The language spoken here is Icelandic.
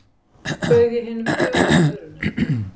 Bauð ég hinum þögula förunaut